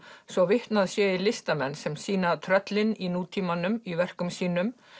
svo vitnað sé í listamenn sem sýna tröllin í nútímanum í verkum sínum